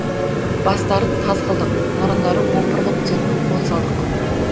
бастарын таз қылдық мұрындары опырылып түсетін укол салдық